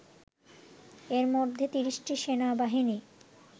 এরমধ্যে ৩০টি সেনাবাহিনী